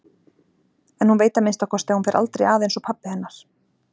En hún veit að minnsta kosti að hún fer aldrei að einsog pabbi hennar.